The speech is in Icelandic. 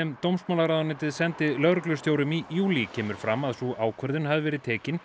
dómsmálaráðuneytið sendi lögreglustjórum í júlí kemur fram að sú ákvörðun hafi verið tekin